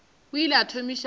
o ile a thomiša go